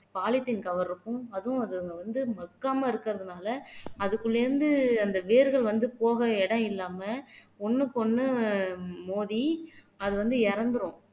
polythene cover இருக்கும் அதுவும் அதுங்க வந்து மக்காம இருக்கறதுனால அதுக்குள்ள இருந்து அந்த வேர்கள் வந்து போக இடம் இல்லாம ஒண்ணுக்கொண்ணு மோதி அது வந்து இறந்திரும்